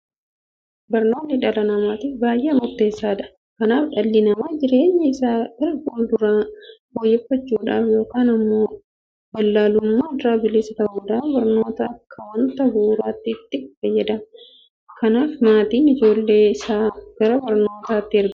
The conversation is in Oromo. Barnoonni dhala namaatiif baay'ee murteessaadha. Kanaaf dhalli namaa jireenya isaa gara fuulduraa fooyyeffachuudhaaf yookiin immoo wallaalummaa irraa bilisa ta'uudhaaf barnoota akka waanta bu'uuraatti itti fayyadama. Kanaaf maatiin ijoollee isaa gara mana barnootaatti ergateetu barsiifata.